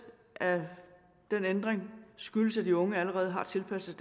af den ændring skyldes at de unge allerede har tilpasset